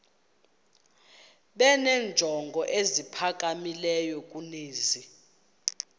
benenjongo eziphakamileyo kunezi